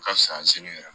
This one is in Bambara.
Ka fisa yɛrɛ